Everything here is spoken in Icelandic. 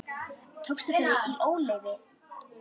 Tókstu þau í óleyfi?